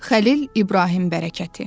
Xəlil İbrahim bərəkəti.